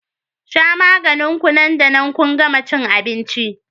shan maganin ku nan da nan kun gama cin abinci